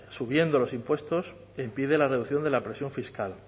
subiendo los impuestos e impide la reducción de la presión fiscal